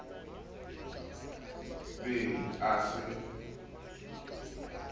be a se a mo